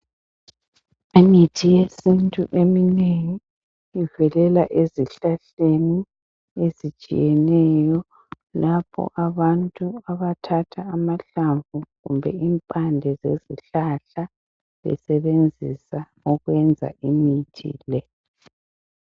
Imithi yesintu eminengi ivelela ezihlahleni ezitshiyeneyo lapho abantu abathatha amahlamvu kumbe impande zezihlahla besenzisa ukwenza imithi le.